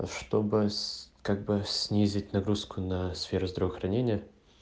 чтобы как бы снизить нагрузку на сферу здравоохранения